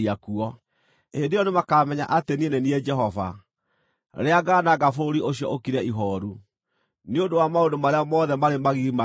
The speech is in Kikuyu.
Hĩndĩ ĩyo nĩmakamenya atĩ niĩ nĩ niĩ Jehova, rĩrĩa ngaananga bũrũri ũcio ũkire ihooru, nĩ ũndũ wa maũndũ marĩa mothe marĩ magigi maneeka.’